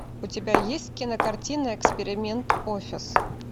у тебя есть кинокартина эксперимент офис